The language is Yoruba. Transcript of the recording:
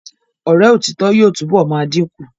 Ọ̀rẹ́ òtítọ́ yóò túnbọ̀ máa dìn kù.